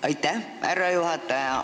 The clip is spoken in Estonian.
Aitäh, härra juhataja!